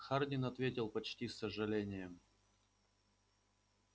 хардин ответил почти с сожалением